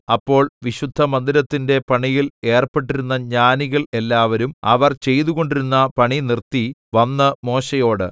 അപ്പോൾ വിശുദ്ധമന്ദിരത്തിന്റെ പണിയിൽ ഏർപ്പെട്ടിരുന്ന ജ്ഞാനികൾ എല്ലാവരും അവർ ചെയ്തുകൊണ്ടിരുന്ന പണി നിർത്തി വന്ന് മോശെയോട്